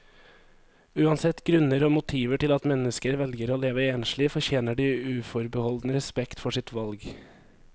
Uansett grunner og motiver til at mennesker velger å leve enslig, fortjener de uforbeholden respekt for sitt valg.